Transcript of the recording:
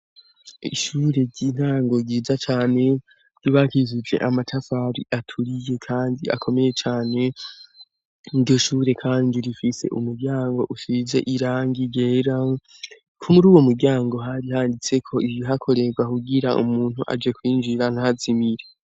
Ishure ry'intango ryiza cane ryubakishije amatafari aturiye kandi akomeye cane iryo ishure kandi rifise umuryango usize irangi ryera kuruwo mu ryango hari handitseko ibi hakorerwa hugira umuntu aje kwinjira ntazimire.